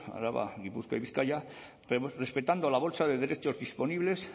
araba gipuzkoa y bizkaia pero respetando la bolsa de derechos disponibles